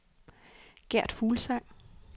Gert Fuglsang